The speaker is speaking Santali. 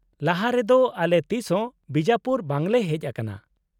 -ᱞᱟᱦᱟᱨᱮ ᱫᱚ ᱟᱞᱮ ᱛᱤᱥᱦᱚᱸ ᱵᱤᱡᱟᱯᱩᱨ ᱵᱟᱝᱞᱮ ᱦᱮᱡ ᱟᱠᱟᱱᱟ ᱾